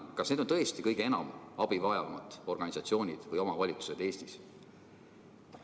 Kas need on tõesti kõige enam abi vajavad organisatsioonid või omavalitsused Eestis?